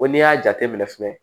Ko n'i y'a jateminɛ fɛnɛ